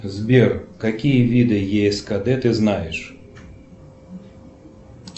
сбер какие виды ескд ты знаешь